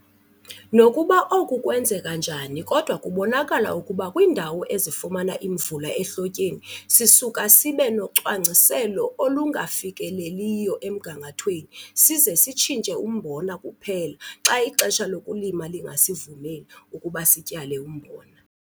Nokuba oku kwenzeka njani kodwa kubonakala ukuba kwiindawo ezifumana imvula ehlotyeni, sisuka sibe nocwangciselo olungafikeleliyo emgangathweni size sitshintshe umbona kuphela xa ixesha lokulima lingasivumeli ukuba sityale umbona.